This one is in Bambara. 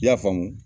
I y'a faamu